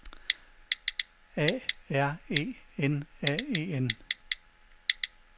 A R E N A E N